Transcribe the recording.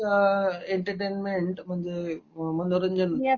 entertainment म्हणजे मनोरंजन